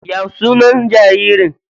Ya sunan jaririn?